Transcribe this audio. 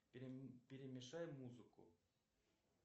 перемешай музыку